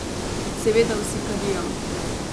Seveda vsi kadijo.